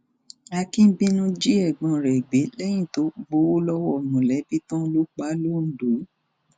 akínbínú jí ẹgbọn rẹ gbé lẹyìn tó gbowó lọwọ mọlẹbí tán ló pa á londo